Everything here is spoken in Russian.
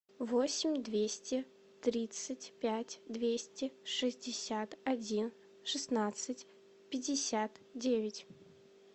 восемь двести тридцать пять двести шестьдесят один шестнадцать пятьдесят девять